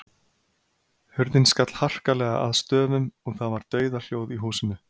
Hurðin skall harkalega að stöfum og það var dauðahljóð í húsinu.